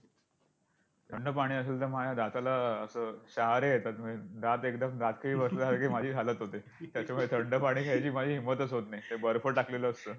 थंड पाणी असेल तर माझ्या दाताला असं शहारे येतात, दात एकदम दातखिळी बसल्यासारखी माझी हालत होते. त्याच्यामुळे थंड पाणी घ्यायची माझी हिंमतच होत नाही. ते बर्फ टाकलेलं असतं!